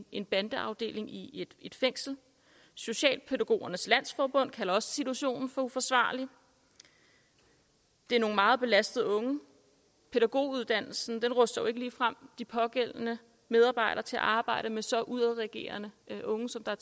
en bandeafdeling i et fængsel socialpædagogernes landsforbund kalder også situationen for uforsvarlig det er nogle meget belastede unge og pædagoguddannelsen ruster jo ikke ligefrem de pågældende medarbejdere til at arbejde med så udadreagerende unge som der